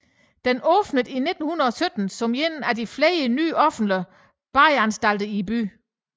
Den åbnede i 1917 som en af flere nye offentlige badeanstalter i byen